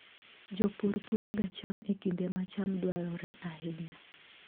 Jopur puroga cham e kinde ma cham dwarore ahinya.